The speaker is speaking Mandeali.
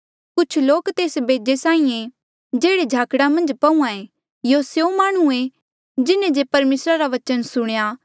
कुछ लोक तेस बेजे साहीं ऐें जेह्ड़े झाकड़ा मन्झ पहूंआं ऐें यूं स्यों माह्णुं ऐें जिन्हें जे परमेसरा रा बचन सुणेया